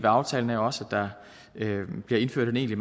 aftalen er også at der bliver indført en egentlig